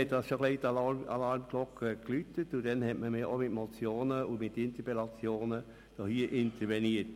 Damals klingelten die Alarmglocken bereits etwas, und im Grossen Rat wurde mit Motionen und Interpellationen darauf reagiert.